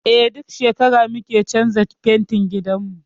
Eh, duk shekara muke canza fentin gidanmu.